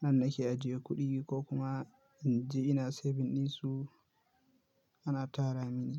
nan nake ajiye kuɗi ko kuma in je ina saving ɗinsu ana tara mini.